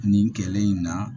Nin kɛlen in na